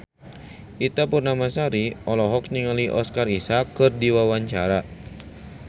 Ita Purnamasari olohok ningali Oscar Isaac keur diwawancara